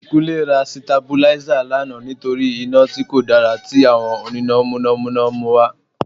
Kúnlé ra Sitabuláísà lánàá nítorí iná tí kò dára tí àwọn oníná Mọ̀nà Mọ̀nà ń mú wá